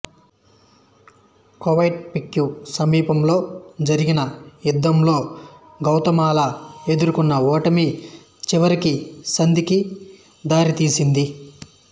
Coatepeque సమీపంలో జరిగిన యుద్ధంలో గౌతమాలా ఎదుర్కొన్న ఓటమి చివరికి సంధికి దారితీసింది